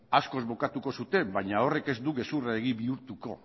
askoz bukatuko zuten baina horrek ez du gezurra egi bihurtuko